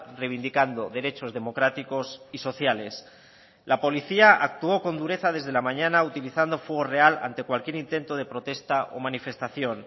reivindicando derechos democráticos y sociales la policía actuó con dureza desde la mañana utilizando fuego real ante cualquier intento de protesta o manifestación